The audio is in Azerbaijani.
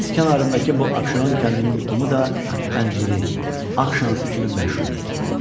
Dəniz kənarındakı bu Abşeron kəndinin qumu da anciri, ağ şansı kimi məşhur idi.